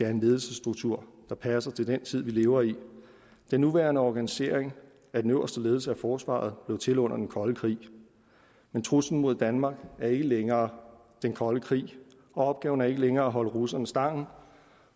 en ledelsesstruktur der passer til den tid vi lever i den nuværende organisering af den øverste ledelse af forsvaret blev til under den kolde krig men truslen mod danmark er ikke længere den kolde krig og opgaven er ikke længere at holde russerne stangen